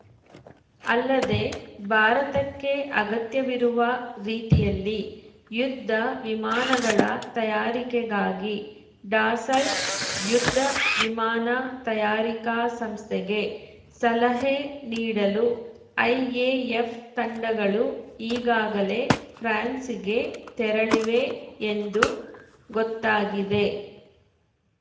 ಅಲ್ಲದೆ ಭಾರತಕ್ಕೆ ಅಗತ್ಯವಿರುವ ರೀತಿಯಲ್ಲಿ ಯುದ್ಧ ವಿಮಾನಗಳ ತಯಾರಿಕೆಗಾಗಿ ಡಸಾಲ್ಟ‌ ಯುದ್ಧ ವಿಮಾನ ತಯಾರಿಕಾ ಸಂಸ್ಥೆಗೆ ಸಲಹೆ ನೀಡಲು ಐಎಎಫ್‌ ತಂಡಗಳು ಈಗಾಗಲೇ ಫ್ರಾನ್ಸ್‌ಗೆ ತೆರಳಿವೆ ಎಂದು ಗೊತ್ತಾಗಿದೆ